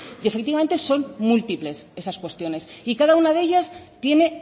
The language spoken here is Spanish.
y efectivamente son múltiples esas cuestiones y cada una de ellas tiene